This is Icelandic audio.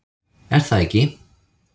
Er það ekki?